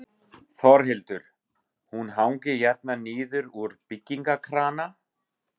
Þórhildur: Hún hangir hérna niður úr byggingakrana?